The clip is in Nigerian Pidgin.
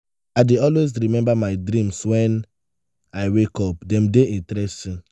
i dey always remember my dreams when i wake up; dem dey interesting.